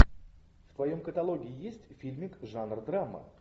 в твоем каталоге есть фильмик жанр драма